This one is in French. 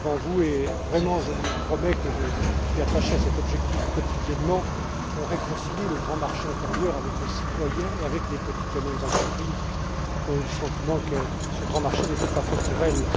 J'ai dit devant vous et vraiment je vous promets que je suis attaché à cet objectif au quotidien qu'on doit réconcilier le grand marché intérieur avec les citoyens et avec les petites et moyennes entreprises, qui ont eu le sentiment que ce grand marché n'était pas fait pour elles.